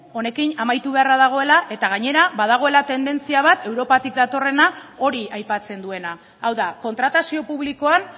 honekin amaitu beharra dagoela eta gainera badagoela tendentzia bat europatik datorrena hori aipatzen duena hau da kontratazio publikoan